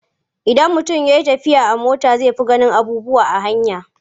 Idan mutum ya yi tafiya a mota zai fi ganin abubuwa a hanya.